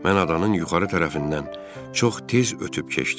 Mən adanın yuxarı tərəfindən çox tez ötüb keçdim.